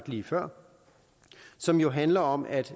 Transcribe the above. lige før som jo handler om at